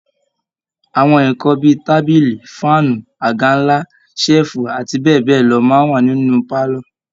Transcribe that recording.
Àwọn nǹkan bí i tábìlì, fáànù, àga ńlá, ṣẹ́ẹ̀fù abbl máa ń wà nínú pálọ̀